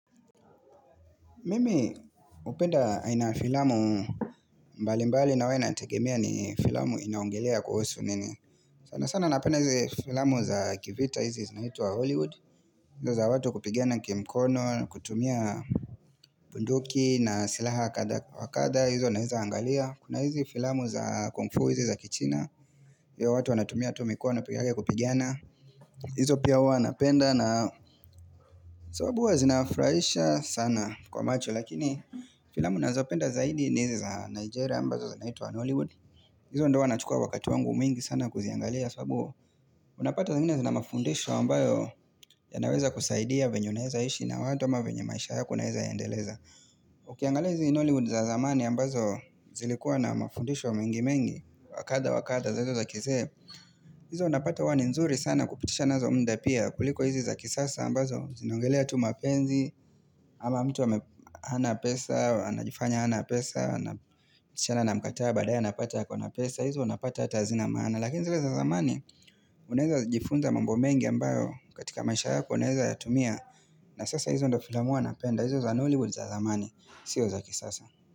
Mimi upenda aina ya filamu mbali mbali na wana tegemea ni filamu inaongelea kuhusu nini. Sana sana napenda hizi filamu za kivita hizi zinaitwa Hollywood. Hizo za watu kupigana kimkono, kutumia bunduki na silaha wa kadhaa hizo naeza angalia. Kuna hizi filamu za kungfu hizi za kichina. Hizo watu wanatumia tumikono peke yake kupigiana. Hizo pia hua napenda na sababu huwa zinafuraisha sana kwa macho. Lakini filamu nazo penda zaidi nizi za Nigeria ambazo za naitu wa Hollywood Izo ndo wanachukua wakatu wangu mingi sana kuziangalia sabu Unapata zangine zina mafundisho ambayo ya naweza kusaidia venye unaeza ishi na watu ama venyemaisha yako naeza endeleza Ukiangalia hizi Hollywood za zamani ambazo zilikuwa na mafundisho mengi mengi Wakadhaa wakadhaa zaizo za kizee Izo unapata huwani nzuri sana kupitisha nazo mda pia kuliko hizi za kisasa ambazo zinaongelea tu mapenzi ama mtu ame hana pesa, anajifanya hana pesa Shana na mkataa badaya napata ya kona pesa hizo napata hata hazina maana Lakini zile za zamani Unaeza jifunza mambo mengi ambayo katika maisha yako unaeza yatumia na sasa hizo ndofila mu a napenda hizo za hollywood za zamani Sio zaki sasa.